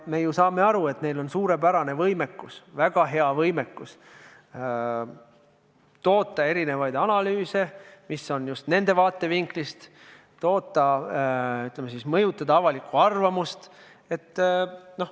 Me saame aru, et neil on suurepärane võimekus toota erinevaid analüüse, mis on koostatud just nende vaatevinklist, et mõjutada avalikku arvamust.